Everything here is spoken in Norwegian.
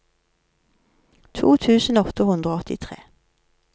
to tusen åtte hundre og åttitre